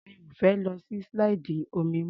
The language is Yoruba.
Mi ò fẹ́ lọ sí slide omi mọ́.